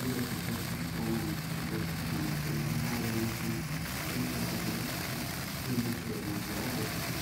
iyado sifeysan oo wanagsan oo digir wanagsan ah ama maharage wanagsan ah ayey so garta dadka sidhi ayey bulshada u cunan.